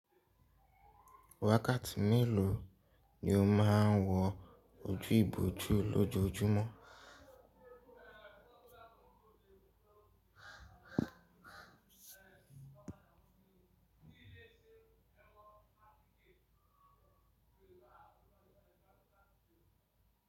Wákàtí mélòó ni o máa ń wọ ojú ibòjú lójoójúmọ́?